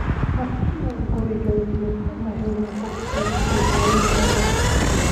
Markii uu guriga yimid, ma helin qof u soo dhaweynaya.